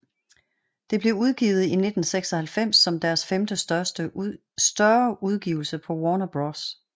Det blev udgivet i 1996 som deres femte større udgivelse på Warner Bros